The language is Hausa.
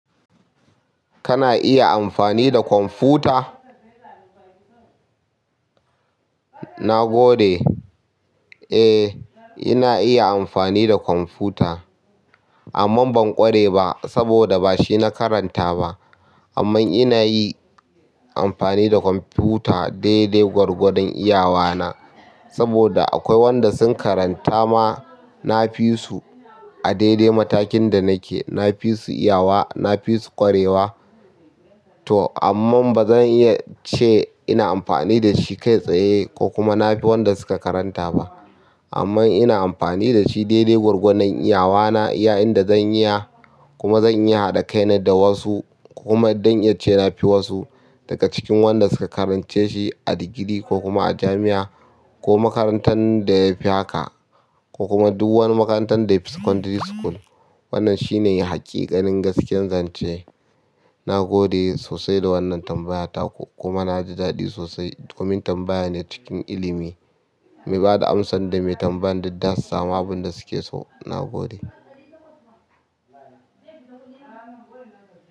Kana iya amfani da kwamfuta? Na gode. Eh, ina iya amfani da kwamfuta amma ban ƙware ba saboda ba shi na karanta ba. Amman ina yi amfani da kwamfuta daidai gwargwadon iyawana saboda akwai wanda sun karanta ma, na fi su a daidai matakin da nake. Na fi su iyawa, na fi su ƙwarewa toh amma ba zan iya ce ina amfani da shi kai tsaye ko kuma na fi wanda suka karanta ba. Amma ina amfani da shi dai dai gwargwadon iyawa na. Iya yanda zan iya kuma zan iya da kai na da wasu kuma don iya ce na fi wasu daga cikin wanda suka karance shi a digiri ko kuma a jami'a ko makarantar da yafi haka ko kuma duk wani makarantar da yafi secondary school. Wannan shine haƙiƙanin gaskiyar zance. Na gode sosai da wannan tambaya taku, kuma na ji daɗi sosai. Komin tambaya ne cikin ilimi mai ba da amsa da mai tambaya duk da su sama abin da suke so. Na gode.